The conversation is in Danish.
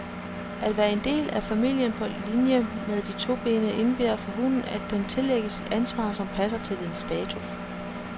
At være en del af familien på linje med de tobenede indebærer for hunden, at den tillægges et ansvar, som passer til dens status.